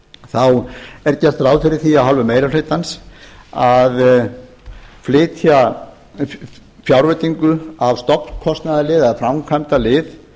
þá er gert ráð fyrir því af hálfu meiri hlutans að flytja fjárveitingu af stofnkostnaðarlið eða framkvæmdalið